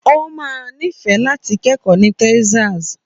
Ó máa nífẹ̀ẹ́ láti kẹ́kọ̀ọ́ ní Texas.